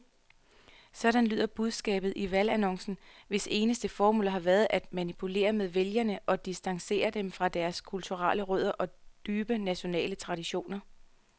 Sådan lyder budskabet i valgannoncerne, hvis eneste formål har været at manipulere med vælgere og distancere dem fra deres kulturelle rødder og dybe nationale traditioner.